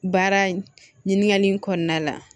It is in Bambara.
Baara ɲininkali in kɔnɔna la